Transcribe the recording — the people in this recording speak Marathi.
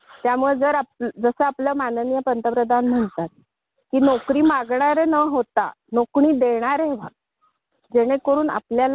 होते तर होईल. आणि होतं कसं. दहावीतली. मुली मुलं ही सगळी. असतात ना ती पुस्तके. अभ्यासक्रमांमधून आलेली असतात.